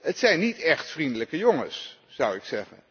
Het zijn niet echt vriendelijke jongens, zou ik zeggen.